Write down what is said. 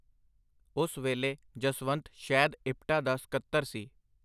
ਉਸ ਵੇਲੇ ਜਸਵੰਤ ਸ਼ੈਦ ਇਪਟਾ ਦਾ ਸਕੱਤਰ ਸੀ.